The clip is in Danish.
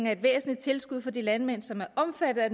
er et væsentligt tilskud for de landmænd som er omfattet af